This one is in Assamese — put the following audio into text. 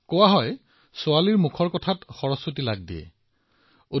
আমাৰ ইয়াত কোৱা হয় যে যেতিয়া ছোৱালীয়ে কথা কয় তেতিয়া তেওঁৰ শব্দত সৰস্বতী বিৰাজমান হয়